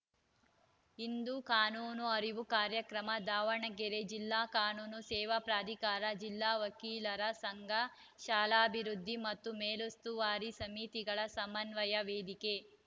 ಇಂದು ಕಾನೂನು ಅರಿವು ಕಾರ್ಯಕ್ರಮ ದಾವಣಗೆರೆ ಜಿಲ್ಲಾ ಕಾನೂನು ಸೇವಾ ಪ್ರಾಧಿಕಾರ ಜಿಲ್ಲಾ ವಕೀಲರ ಸಂಘ ಶಾಲಾಭಿವೃದ್ಧಿ ಮತ್ತು ಮೇಲುಸ್ತುವಾರಿ ಸಮಿತಿಗಳ ಸಮನ್ವಯ ವೇದಿಕೆ